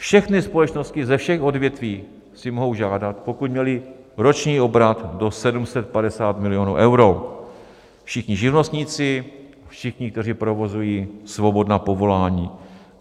Všechny společnosti ze všech odvětví si mohou žádat, pokud měly roční obrat do 750 milionů euro - všichni živnostníci, všichni, kteří provozují svobodná povolání.